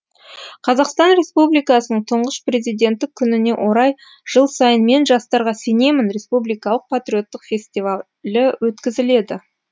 қазақстан республикасының тұңғыш президенті күніне орай жыл сайын мен жастарға сенемін республикалық патриоттық фестивалі өткізіледі